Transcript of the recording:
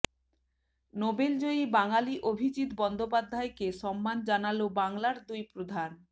Nobel জয়ী বাঙালি অভিজিৎ বন্দ্যোপাধ্যায়কে সম্মান জানালো বাংলার দুই প্রধান